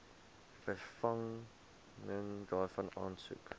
vervanging daarvan aansoek